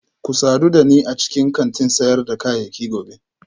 Ku sadu da ni a cikin kantin sayar da kayayyaki gobe